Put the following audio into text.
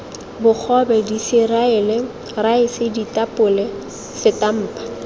bogobe diseriale raese ditapole setampa